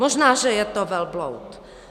Možná, že je to velbloud.